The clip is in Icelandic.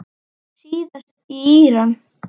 Síðast í Íran.